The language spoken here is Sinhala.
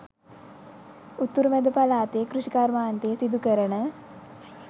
උතුරු මැද පළාතේ කෘෂිකාර්මාන්තය සිදු කරන